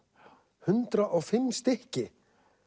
hundrað og fimm stykki